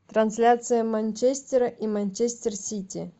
трансляция манчестера и манчестер сити